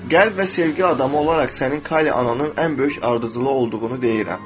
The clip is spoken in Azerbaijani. Qəlb və sevgi adamı olaraq sənin kali ananın ən böyük ardıcılı olduğunu deyirəm.